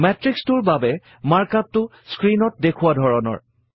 মেত্ৰিক্সটোৰ বাবে মাৰ্কআপ টো স্ক্ৰীণত দেখুওৱা ধৰণৰ